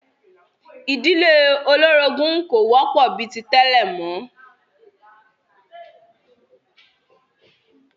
Ìdílé olórogún kò wọ́pọ̀ bi ti tẹ́lẹ̀ mọ́